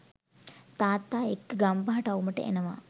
තාත්තා එක්ක ගම්පහ ටවුමට එනවා